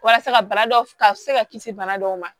Walasa ka bana dɔw ka se ka kisi bana dɔw ma